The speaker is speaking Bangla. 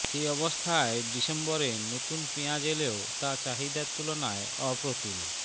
এ অবস্থায় ডিসেম্বরে নতুন পেঁয়াজ এলেও তা চাহিদার তুলনায় অপ্রতুল